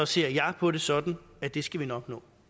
ser jeg på det sådan at det skal vi nok nå